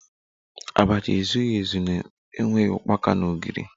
Abacha ezughi ezu na-enweghi ukpaka na ogiri